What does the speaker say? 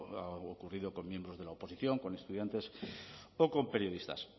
ha ocurrido con miembros de la oposición con estudiantes o con periodistas